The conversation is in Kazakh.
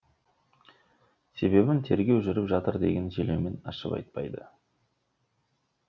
себебін тергеу жүріп жатыр деген желеумен ашып айтпады